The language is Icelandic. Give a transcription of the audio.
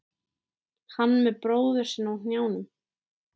Hann með bróður sinn á hnjánum.